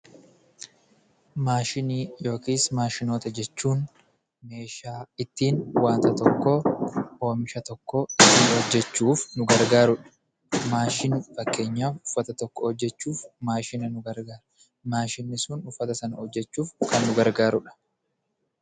Maashinii yookis maashinoota jechuun meeshaa ittiin waanta tokkoo ,oomisha tokko hojjechuuf nu gargaaru dha, Fakkeenyaaf uffata tokko hojjechuuf maashina nu gargaara . Maashinni sun uffata sana hojjechuuf kan nu gargaarudha.